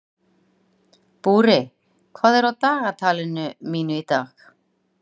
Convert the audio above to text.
Búri, hvað er á dagatalinu mínu í dag?